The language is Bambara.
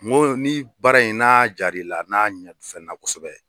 N go ni baara in n'a jaar'i la n'a kosɛbɛ.